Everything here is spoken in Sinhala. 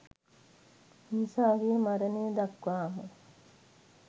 මිනිසාගේ මරණය දක්වාම